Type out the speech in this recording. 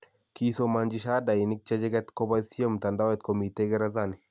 Kisomanchi shahadainik chechiket koboisyei mtandaoit komitei Gerezanini.